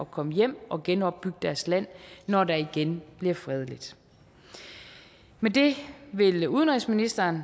komme hjem og genopbygge deres land når der igen bliver fredeligt men det vil udenrigsministeren